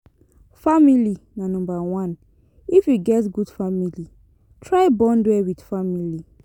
Family na number one if you get good family, try bond well with family